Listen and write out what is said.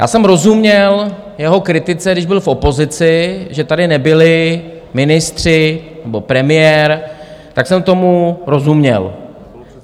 Já jsem rozuměl jeho kritice, když byl v opozici, že tady nebyli ministři nebo premiér, tak jsem tomu rozuměl.